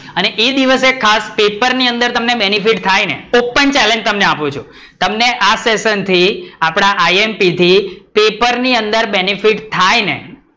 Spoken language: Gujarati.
અને એ દિવસે ખાસ પેપર ની અંદર તમને benefit થાય ને તો open challenge તમને આપું છું છું તમને આ session થી આપડા આએએમપી imp થી પેપર ની અંદર benefit થાય ને